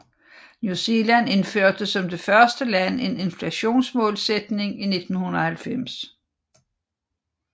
New Zealand indførte som det første land en inflationsmålsætning i 1990